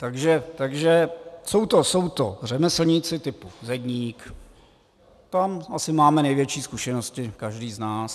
Takže jsou to řemeslníci typu zedník, tam asi máme největší zkušenosti každý z nás.